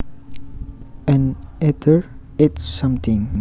An eater eats something